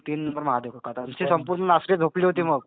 आणि तीन नंबर महादेव कदम. असे संपूर्ण तीन नंबर झोपले होते मग.